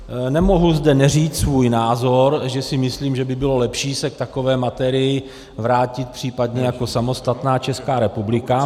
Nemohu zde neříct svůj názor, že si myslím, že by bylo lepší se k takové materii vrátit případně jako samostatná Česká republika.